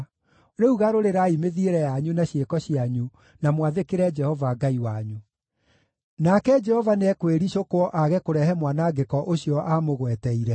Rĩu garũrĩrai mĩthiĩre yanyu na ciĩko cianyu na mwathĩkĩre Jehova Ngai wanyu. Nake Jehova nĩekwĩricũkwo aage kũrehe mwanangĩko ũcio aamũgweteire.